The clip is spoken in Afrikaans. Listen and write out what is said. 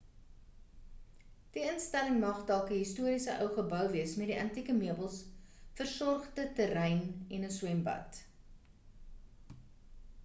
die instelling mag dalk 'n historiese ou gebou wees met antieke meubels versorgde terrein en 'n swembad